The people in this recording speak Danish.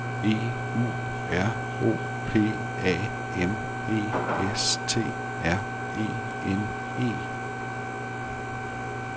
E U R O P A M E S T R E N E